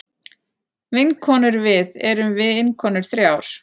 Vinkonurvið erum vinkonur þrjár.